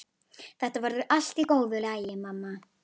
Þetta verður allt í góðu lagi, mamma.